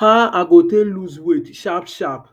aw i go take loose weight sharp sharp